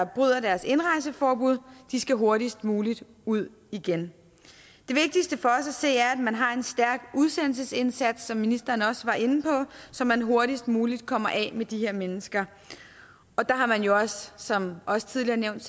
bryder deres indrejseforbud skal hurtigst muligt ud igen det vigtigste for os at se er at man har en stærk udsendelsesindsats som ministeren også var inde på så man hurtigst muligt kommer af med de her mennesker der har man jo også som også tidligere nævnt